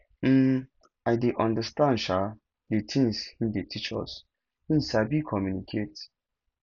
um i dey understand um the things he dey teach us he sabi communicate